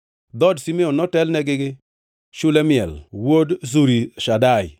Dhood Simeon notelnegi gi Shelumiel wuod Zurishadai,